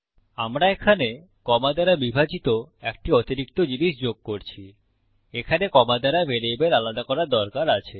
আমরা এখানে কমা দ্বারা বিভাজিত একটি অতিরিক্ত জিনিস যোগ করছি এখানে কমা দ্বারা ভ্যারিয়েবল আলাদা করার দরকার আছে